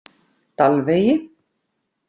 Dalvegi